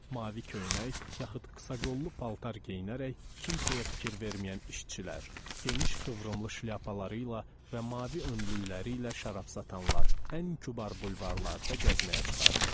Mavi köynək yaxud qısa qollu paltar geyinərək kimsəyə fikir verməyən işçilər, geniş qıvrımlı şlyapaları ilə və mavi önlükləri ilə şərab satanlar ən kübar bulvarlarda gəzməyə çıxardılar.